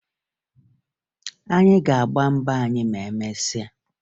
Anyị ga-agba mbọ anyị ma emesịa